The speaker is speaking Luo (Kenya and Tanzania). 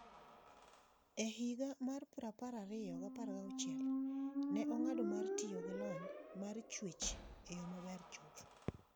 E higa mar 2016, ne ong'ado mar tiyo gi lony mar chuech e yo maber chuth.